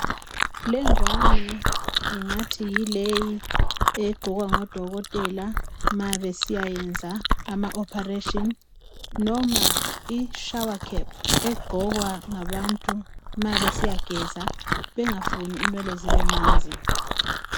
Le ngwane ungathi yileyi egqokwa ngo dokotela ma besiyenza ama ophareshini noma ishawakhephu egqokwa ngabantu ma besiyageza bengafuni inwele zibe manzi.